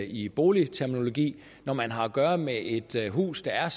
i boligterminologien når man har at gøre med et hus der er